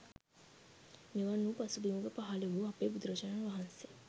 මෙවන් වූ පසුබිමක පහළ වූ අපේ බුදුරජාණන් වහන්සේ